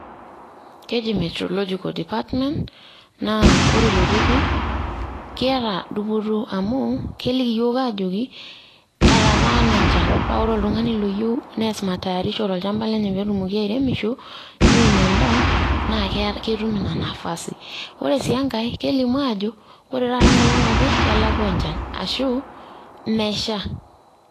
Keji metreological department ,na ore ilo turrur, kiata dupoto amu keliki yiok aajoki, etataana enchan. Pa ore oltung'ani loyieu neas matayarisho tolchamba lenye petumoki airemisho, neun endaa, naa ketum ina nafasi. Ore si enkae, kelimu ajo, ore taata enkolong' naje, kelakwa enchan. Ashu, mesha.